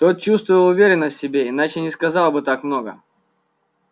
тот чувствовал уверенность в себе иначе не сказал бы так много